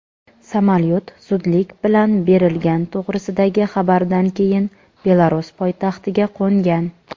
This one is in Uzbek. samolyot zudlik bilan berilgan to‘g‘risidagi xabardan keyin Belarus poytaxtiga qo‘ngan.